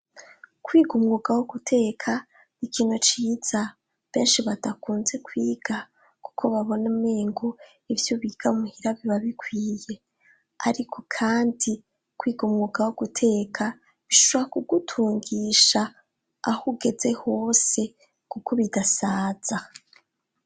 Kwiga umwuga wo guteka ikintu ciza benshi badakunze kwiga, kuko babona mengo ivyo bigamuhira bibabikwiye, ariko, kandi kwiga umwuga wo guteka bishora kugutungisha aho ugeze hose, kuko bidasaza.